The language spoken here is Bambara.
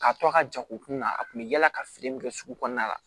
K'a to a ka ja u kunna a kun bɛ yala ka feere min kɛ sugu kɔnɔna la